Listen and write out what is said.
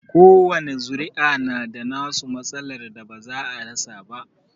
Kowani zuri'a na da nasu matsalar da ba za a rasa ba.